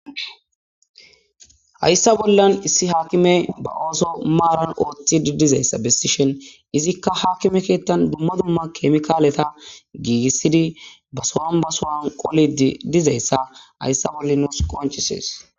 Hayssa bollan issi haakime ba ooso maaran ooththi didizayssa bessishen izikka haakime keettan dumma dumma kemikaaleta giigissidi ba so'an basowan qoli dizayssa hayssa bolla nuus qonchises.